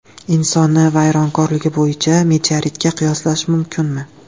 Insonni vayronkorligi bo‘yicha meteoritga qiyoslash mumkinmi?